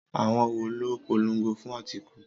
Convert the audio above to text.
Àwọn wo ló polongo fún Atiku?